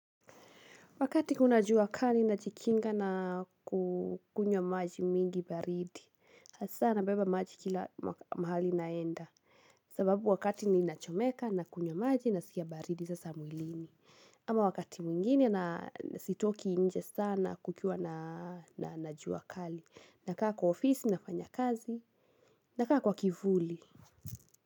Wakati kuna jua kali najikinga na kukunywa maji mingi baridi. Nabeba maji kila mahali naenda. Sababu wakati ninachomeka nakunywa maji na sikia baridi sasa mwilini. Ama wakati mwingine na sitoki nje sana kukiwa na jua kali. Nakaa kwa ofisi, nafanya kazi, nakaa kwa kivuli.